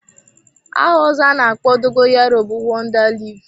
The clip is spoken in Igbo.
Aha ọzọ ana-akpọ dogoyaro bụ wonda leaf.